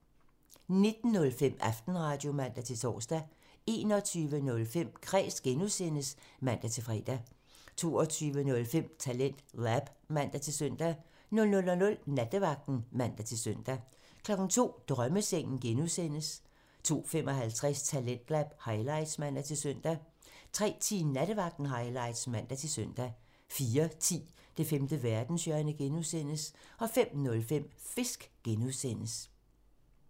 19:05: Aftenradio (man-tor) 21:05: Kræs (G) (man-fre) 22:05: TalentLab (man-søn) 00:00: Nattevagten (man-søn) 02:00: Drømmesengen (G) (man) 02:55: Talentlab highlights (man-søn) 03:10: Nattevagten highlights (man-søn) 04:10: Det femte verdenshjørne (G) (man) 05:05: Fisk (G) (man)